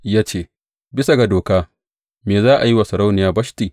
Ya ce, Bisa ga doka, me za a yi wa Sarauniya Bashti?